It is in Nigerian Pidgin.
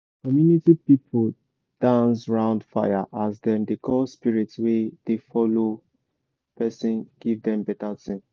community people dance round fire as dem dey call spirit wey dey follow person give am better thing.